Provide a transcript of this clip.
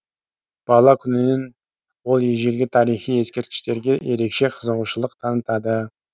бала күнінен ол ежелгі тарихи ескерткіштерге ерекше қызығушылық танытады